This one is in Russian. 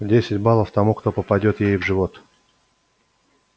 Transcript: десять баллов тому кто попадёт ей в живот